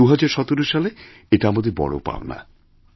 তো ২০১৭ সালে এটা আমাদের বড় পাওনা